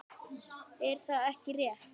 Er það ekki rétt?